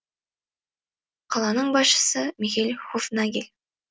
қаланың басшысы михель хофнагель